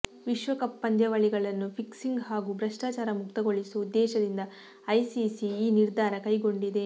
ವಿಶ್ವಕಪ್ ಪಂದ್ಯಾವಳಿಗಳನ್ನು ಫಿಕ್ಸಿಂಗ್ ಹಾಗೂ ಭ್ರಷ್ಟಾಚಾರ ಮುಕ್ತಗೊಳಿಸುವ ಉದ್ದೇಶದಿಂದ ಐಸಿಸಿ ಈ ನಿರ್ಧಾರ ಕೈಗೊಂಡಿದೆ